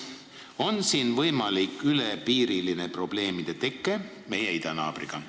On siin võimalik probleemide teke suhetes meie idanaabriga?